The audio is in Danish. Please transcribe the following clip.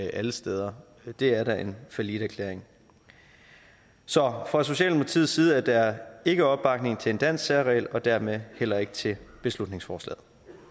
alle steder det er da en falliterklæring så fra socialdemokratiets side er der ikke opbakning til en dansk særregel og dermed heller ikke til beslutningsforslaget